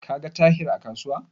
Ka ga Tahir a kasuwar?